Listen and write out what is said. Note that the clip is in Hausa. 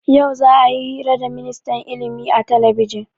Yau za'a yi hira da ministan ilimi a talabijin.